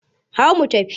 Hau mu tafi!